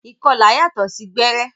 Ìkọlà yàtọ sí gbẹrẹ.